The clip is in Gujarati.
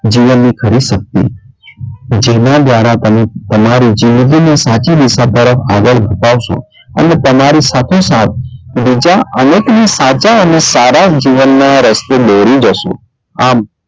જીવનની ખરી શક્તિ જેનાં દવારા તમે તમારી જીદગી ને સાચી દિશા તરફ આગળ વધાવશો અને તમારી સાથે સાથ બીજા અનેક સાચા અને સારા જીવનનાં રસ્તે દોરી જશો. આમ,